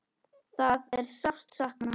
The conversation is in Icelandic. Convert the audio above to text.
Það er sárt sakna.